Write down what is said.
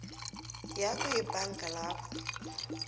yakho yebhanga lapho